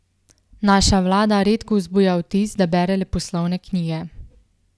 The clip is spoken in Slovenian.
Naša vlada redko vzbuja vtis, da bere leposlovne knjige.